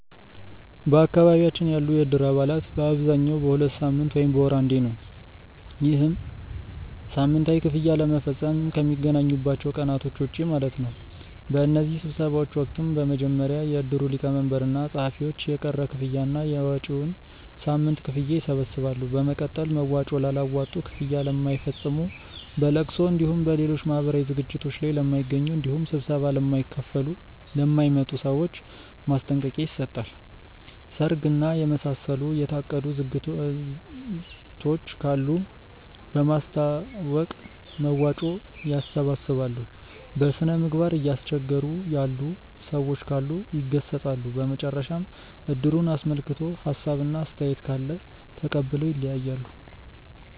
በአካባቢያችን ያሉ የእድር አባላት በአብዛኛው በሁለት ሳምንት ወይም በወር አንዴ ነው። ይህም ሳምንታዊ ክፍያ ለመፈፀም ከሚገናኙባቸው ቀናቶች ውጪ ማለት ነው። በእነዚህ ስብሰባዎች ወቅትም በመጀመሪያ የእድሩ ሊቀመንበር እና ፀሀፊዎች የቀረ ክፍያ እና የመጪዉን ሳምንት ክፍያ ይሰበስባሉ። በመቀጠል መዋጮ ላላዋጡ፣ ክፍያ ለማይፈፅሙ፣ በለቅሶ እንዲሁም በሌሎች ማህበራዊ ዝግጅቶት ላይ ለማይገኙ እንዲሁም ስብሰባ ለማይካፈሉ ( ለማይመጡ) ሰዎች ማስጠንቀቂያ ይሰጣል። ሰርግ እና የመሳሰሉ የታቀዱ ዝግጅቶች ካሉ በማሳወቅ መዋጮ ያሰባስባሉ። በስነምግባር እያስቸገሩ ያሉ ሰዎች ካሉ ይገሰፃሉ። በመጨረሻም እድሩን አስመልክቶ ሀሳብ እና አስተያየት ካለ ተቀብለው ይለያያሉ።